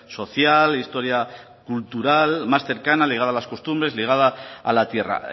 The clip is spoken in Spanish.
social historia cultural más cercana ligada a las costumbres ligada a la tierra